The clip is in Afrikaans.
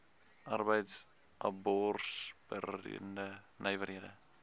arbeids absorberende nywerhede